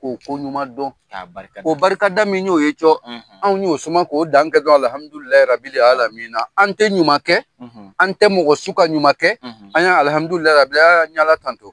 K'o ko ɲuman dɔn. K'a barika da. O barika da min y'o ye cɔ. Anw y'o suma k'o dan kɛ dɔrɔn, alihamudulilayi rabila alamina. An tɛ ɲuman kɛ, an tɛ mɔgɔ su ka ɲuman kɛ, an y'a alihamudulilayi bila Ala tanto.